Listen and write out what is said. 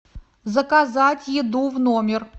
заказать еду в номер